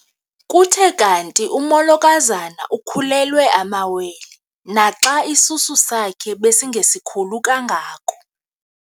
Kuthe kanti umolokazana ukhulelwe amawele naxa isisu sakhe besingesikhulu kangako.